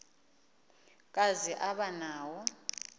kazi aba nawo